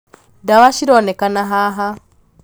ndawa cironekana haha